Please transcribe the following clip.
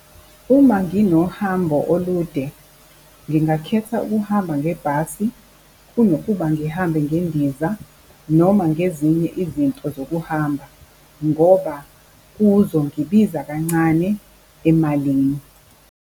Uma nginohambo olude, ngingakhetha ukuhamba ngebhasi kunokuba ngihambe ngendiza noma ngezinye izinto zokuhamba ngoba kuzongibiza kancane emalini.